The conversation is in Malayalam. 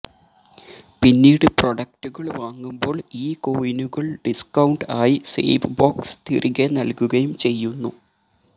പിന്നീട് പ്രൊഡക്ടുകൾ വാങ്ങുമ്പോൾ ഈ കോയിനുകൾ ഡിസ്കൌണ്ട് ആയി സേവ് ബോക്സ് തിരികെ നല്കുകയും ചെയ്യുന്നു